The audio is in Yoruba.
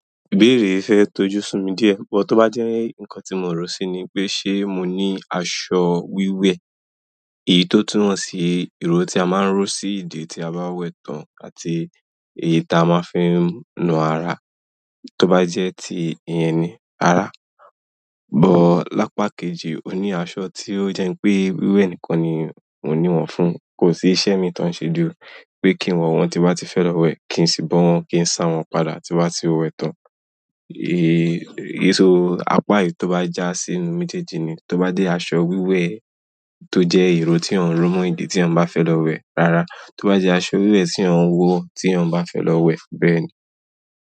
Ìbéèrè yi fẹ́ tọ́jú sinmi díẹ̀, bó tí ó bá jẹ́ nǹkan tí mò ń rò sí ni pé ṣe mò ní aṣọ wíwẹ̀, èyí tó túnwọ̀n sí iro tí a máa ń rò sí ìdi tí a bá wẹ̀ tán àti èyí tí a máa fi ń nù ara tó bá jẹ́ ti ìyẹn ni, rara. Lápa kejì ó ní aṣọ tí ó jẹ́ pé wíwẹ̀ nìkan ni mò ń ní wọ̀n fún, kò sí iṣẹ́ mi tó ń ṣe ju pé kí n wo wọn tí ba ti fẹ́ lọ wẹ̀, kí n sì bó wọn, kí n sá wọn padà tí n bá ti wẹ̀ tán. Èyí tó àpá èyí tó bá jà sí inú mejẹ́jì nì, tó bá jé aṣọ wíwe tó jẹ́ iro tí eyan rò mọ́ ìdi tí eyan bá fẹ́ lọ wẹ̀. Rárá, tó bá jẹ́ aṣọ wíwẹ̀ tí eyan wò tí eyan bá fẹ́ lọ wẹ̀ bẹ́ẹ̀ ni.